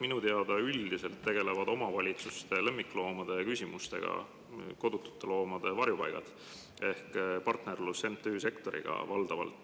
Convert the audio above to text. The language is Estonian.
Minu teada üldiselt tegelevad omavalitsustes lemmikloomade küsimustega kodutute loomade varjupaigad ehk valdavalt toimib partnerlus MTÜ sektoriga.